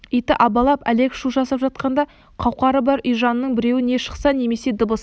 иті абалап әлек шу жасап жатқанда қауқары бар үй жанының біреуі не шықса немесе дыбыс